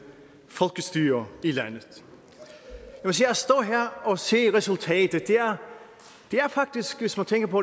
folkestyre i landet at stå her og se resultatet er faktisk hvis man tænker på